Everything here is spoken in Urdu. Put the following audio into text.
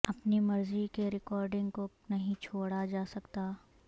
اپنی مرضی کے ریکارڈنگ کو نہیں چھوڑا جا سکتا